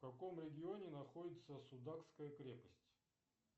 в каком регионе находится судакская крепость